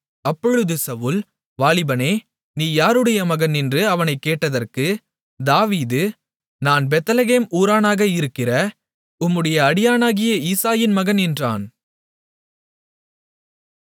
அப்பொழுது சவுல் வாலிபனே நீ யாருடைய மகன் என்று அவனைக்கேட்டதற்கு தாவீது நான் பெத்லெகேம் ஊரானாக இருக்கிற உம்முடைய அடியானாகிய ஈசாயின் மகன் என்றான்